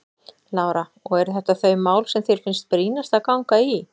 Lára: Og eru þetta þau mál sem þér finnst brýnast að ganga í?